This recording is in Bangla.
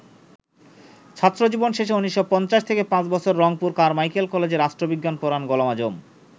ছাত্রজীবন শেষে ১৯৫০ থেকে পাঁচবছর রংপুর কারমাইকেল কলেজে রাষ্ট্রবিজ্ঞান পড়ান গোলাম আযম।